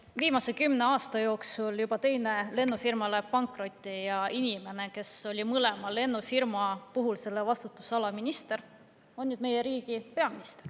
No viimase kümne aasta jooksul juba teine lennufirma läheb pankrotti ja inimene, kes oli mõlema lennufirma puhul selle vastutusala minister, on nüüd meie riigi peamister.